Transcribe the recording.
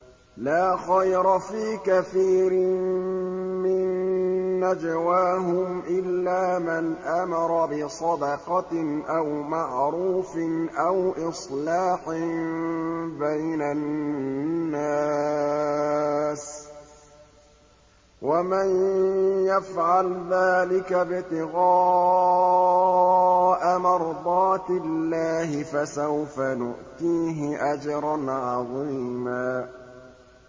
۞ لَّا خَيْرَ فِي كَثِيرٍ مِّن نَّجْوَاهُمْ إِلَّا مَنْ أَمَرَ بِصَدَقَةٍ أَوْ مَعْرُوفٍ أَوْ إِصْلَاحٍ بَيْنَ النَّاسِ ۚ وَمَن يَفْعَلْ ذَٰلِكَ ابْتِغَاءَ مَرْضَاتِ اللَّهِ فَسَوْفَ نُؤْتِيهِ أَجْرًا عَظِيمًا